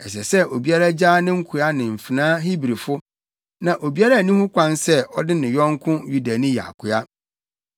Ɛsɛ sɛ obiara gyaa ne nkoa ne mfenaa Hebrifo; na obiara nni ho kwan sɛ ɔde ne yɔnko Yudani yɛ akoa.